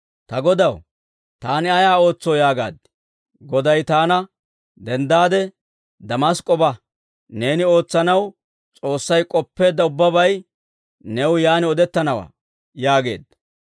« ‹Ta Godaw, taani ayaa ootsoo?› yaagaad. «Goday taana, ‹Denddaade Damask'k'o ba. Neeni ootsanaw S'oossay k'oppeedda ubbabay new yaan odettanawaa› yaageedda.